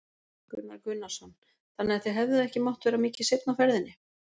Gunnar Gunnarsson: Þannig að þið hefðuð ekki mátt vera mikið seinna á ferðinni?